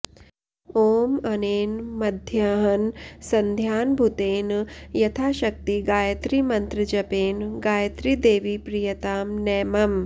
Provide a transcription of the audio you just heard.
ॐ अनेन मध्याह्नसन्ध्याङ्गभुतेन यथाशक्ति गायत्रीमन्त्रजपेन गायत्री देवी प्रीयतां न मम